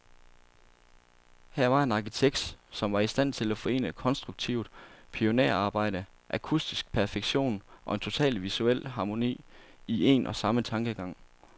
Her var en arkitekt, som var i stand til at forene konstruktivt pionerarbejde, akustisk perfektion, og en total visuel harmoni, i en og samme tankegang.